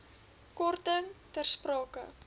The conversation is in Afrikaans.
korting ter sprake